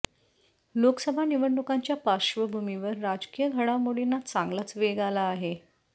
लोकसभा निवडणुकांच्या पार्श्वभूमीवर राजकीय घडामोडींना चांगलाच वेग आला आहे